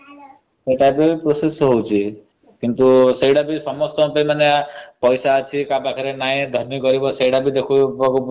ସେଇ type process ହଉଛି। ସେଇଟା ବି ସମସ୍ତଙ୍କ ପାଇଁ ପଇସା ଅଛି କାହା ପାଖରେ ନାହି ଧନୀ ଗରିବ ସେଇଟା ଦେଖିବାକୁ ପଡୁଛି।